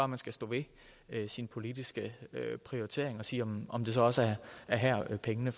man skal stå ved sine politiske prioriteringer og sige om om det så også er her pengene